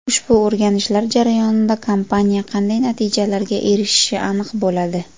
Ushbu o‘rganishlar jarayonida kompaniya qanday natijalarga erishishi aniq bo‘ladi.